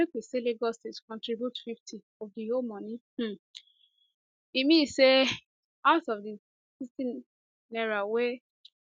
make we say lagos state contribute 50 of di whole money um e e mean say out of di n60 wey